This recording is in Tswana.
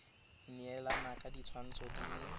neelana ka ditshwantsho di le